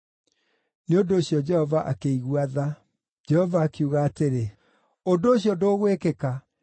Nĩ ũndũ ũcio Jehova akĩigua tha. Jehova akiuga atĩrĩ, “Ũndũ ũcio ndũgwĩkĩka.”